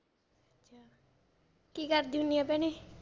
ਕੀ ਕਰਦੀ ਹੁੰਨੀ ਆ ਭੈਣੇ?